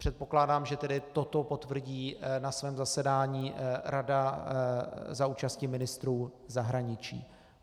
Předpokládám tedy, že toto potvrdí na svém zasedání Rada za účasti ministrů zahraničí.